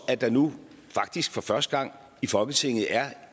at der nu faktisk for første gang i folketinget er